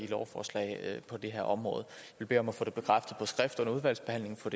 lovforslag på det her område vi beder om at få det bekræftet på skrift under udvalgsbehandlingen få